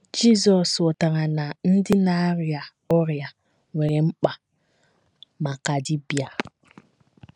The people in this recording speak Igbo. Jizọs ghọtara na ‘ ndị na - arịa ọrịa nwere mkpa maka dibịa. ’